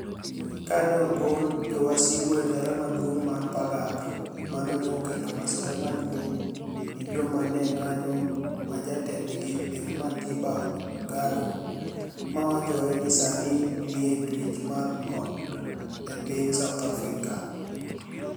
Ka ni e ogol jowasigu e dala maduonig mar Pagak, mano ni e okelo masira maduonig ' ni e joma ni e onig'anijo, ma jatendgi eni Matiba Gado , ma wachore nii Saanii niie twech mar ot e piniy South Africa.